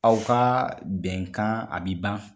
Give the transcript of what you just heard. Aw ka bɛnkan a bi ban.